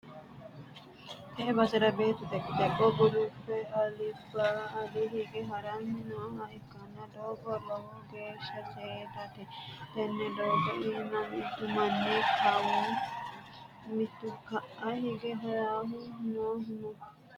tee basera beettu dhoqqi-dhoqqe gulufe alba ale hige ha'ranni nooha ikkanna, doogono lowo geeshsha seedate, tenne doogo iima mitu manni kawa mitu ka'a hige ha'ranni noohu no.